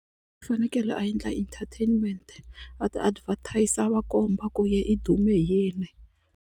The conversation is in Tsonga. U fanekele a endla entertainment a ti advertiser a va komba ku yena i dume hi yini.